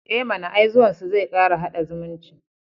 E mana, ai zuwansu zai kara haɗa zumunci.